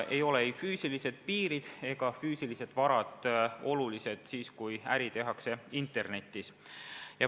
Ei ole füüsilised piirid ega füüsilised varad olulised, kui äri tehakse internetis.